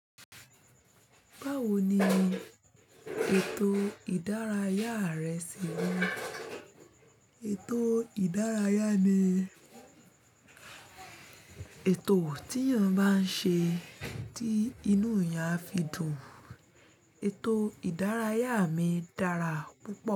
Báwo ni ètò ìdárayá rẹ ṣe rí? Ètò ìdárayá mi, ètò tí èèyàn bá ń ṣe tí inú èèyàn á fi dùn. Ètò ìdárayá mi dára púpọ̀